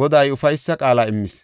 Goday ufaysa qaala immis.